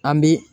An bi